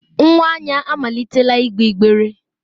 Nwa Anya amalitela igbe igbere.